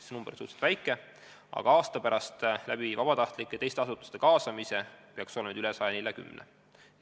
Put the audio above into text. See arv on suhteliselt väike, aga aasta pärast peaks neid inimesi tänu vabatahtlike ja teiste asutuste kaasamisele olema 140 ringis.